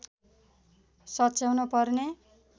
सच्याउन पर्ने